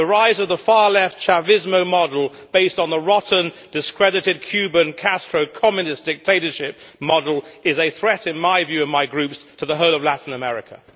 The rise of the far left Chavismo model based on the rotten, discredited Cuban Castro Communist dictatorship model is a threat, in my view and my group's, to the whole of Latin America.